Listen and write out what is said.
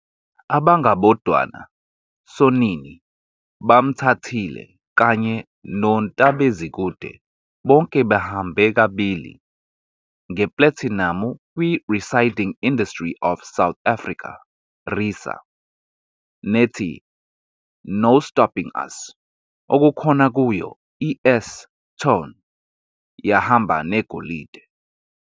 Abangabodwana, "Sonini", "Bamthathile", kanye no "Ntab'Ezikude" bonke bahambe kabili ngeplathinamu kwiReciding Industry of South Africa, RiSA, nethi "No Stopping Us" okukhona kuyo iS-Tone yahamba negolide.